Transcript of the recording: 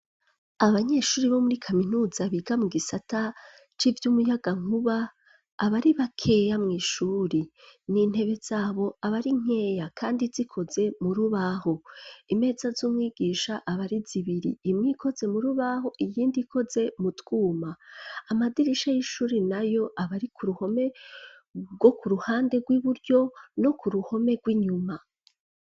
abanyeshuri bo muri kaminuza biga mu gisata c,umuyagankuba abari bakeya mw,ishuri n,intebe zabo abari nkeya kandi zikoze murubaho imeza z'umwigisha abari zibiri imwe ikoze murubaho iyindi ikoze mu twuma amadirisha y'ishuri nayo abari ku ruhome rwo ku ruhande rw'iburyo no ku ruhome rw'inyuma.